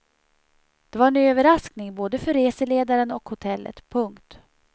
Det var en överraskning både för reseledaren och hotellet. punkt